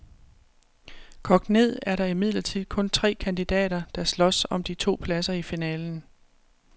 Kogt ned er der imidlertid kun tre kandidater, der slås om de to pladser i finalen.